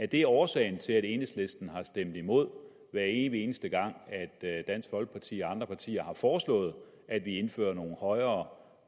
det er årsagen til at enhedslisten har stemt imod hver evig eneste gang dansk folkeparti og andre partier har foreslået at vi indfører nogle højere